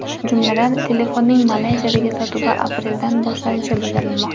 Jumladan, telefonning Malayziyadagi sotuvi apreldan boshlanishi bildirilmoqda.